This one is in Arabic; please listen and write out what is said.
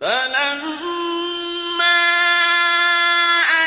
فَلَمَّا